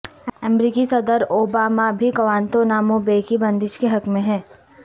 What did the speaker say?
امریکی صدر اوباما بھی گوانتانامو بے کی بندش کے حق میں ہیں